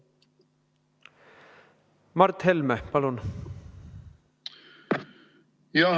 Mart Helme, palun!